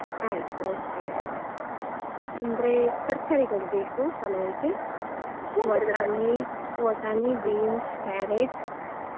ಆಯ್ತು okay ಹೇಳುವ ಅಂದ್ರೆ ತರಕಾರಿಗಳು ಬೇಕು ಪಲಾವ್ಗೆ ಬಟಾಣಿ, ವಟಾಣಿ beans carrot .